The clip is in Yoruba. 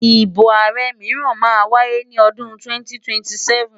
Ìbò ààrẹ mìíràn máa wáyé ní odun 2027.